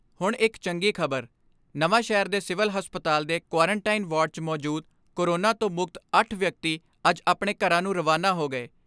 ਹੁਣ ਇਕ ਚੰਗੀ ਖਬਰ, ਨਵਾਂ ਸ਼ਹਿਰ ਦੇ ਸਿਵਲ ਹਸਪਤਾਲ ਦੇ ਕੁਆਰਨ ਟਾਈਨ ਵਾਰਡ 'ਚ ਮੌਜੂਦ ਕੋਰੋਨਾ ਤੋਂ ਮੁਕਤ ਅੱਠ ਵਿਅਕਤੀ ਅੱਜ ਆਪਣੇ ਘਰਾਂ ਨੂੰ ਰਵਾਨਾ ਹੋ ਗਏ।